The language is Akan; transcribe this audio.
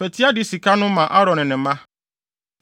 Fa ti ade sika no ma Aaron ne ne mma.”